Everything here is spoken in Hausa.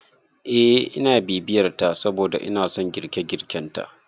Eh ina bibiyar ta saboda inason girke- girken ta